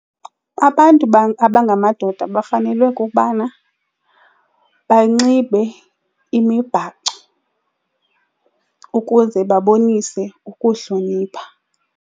Abantu abangamadoda bafanelwe kukubana banxibe imibhaco ukuze babonise ukuhlonipha.